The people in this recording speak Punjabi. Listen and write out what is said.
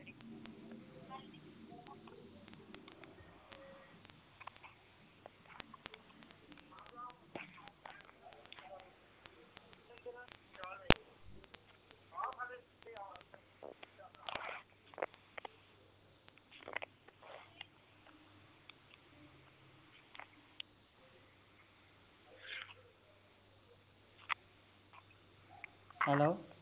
hello